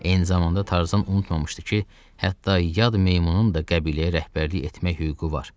Eyni zamanda Tarzan unutmamışdı ki, hətta yad meymunun da qəbiləyə rəhbərlik etmək hüququ var.